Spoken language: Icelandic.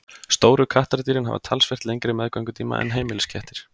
stóru kattardýrin hafa talsvert lengri meðgöngutíma en heimiliskettir